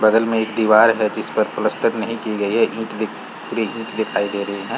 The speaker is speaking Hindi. बगल में एक दिवार है जिस पर प्लस्टर नहीं की गई है ईट दिख ईट दिखाई दे रही है।